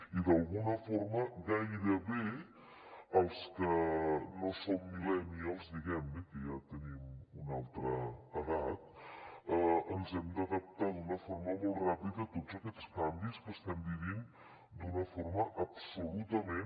i d’alguna forma els que no som millennials diguem ne que ja tenim una altra edat ens hem d’adaptar d’una forma molt ràpida a tots aquests canvis que estem vivint d’una forma absolutament